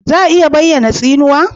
Za a iya bayyana tsinuwa?